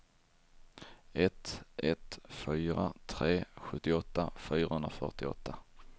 ett ett fyra tre sjuttioåtta fyrahundrafyrtioåtta